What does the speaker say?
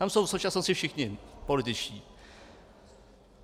Tam jsou v současnosti všichni političtí.